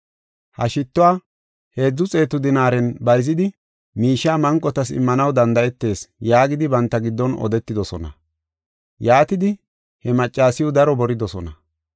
Ha shittuwa heedzu xeetu dinaaren bayzidi, miishiya manqotas immanaw danda7etees” yaagidi banta giddon odetidosona. Yaatidi, he maccasiw daro boridosona.